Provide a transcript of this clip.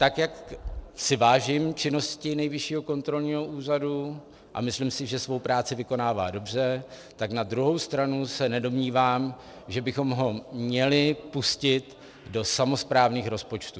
Tak jak si vážím činnosti Nejvyššího kontrolního úřadu a myslím si, že svou práci vykonává dobře, tak na druhou stranu se nedomnívám, že bychom ho měli pustit do samosprávných rozpočtů.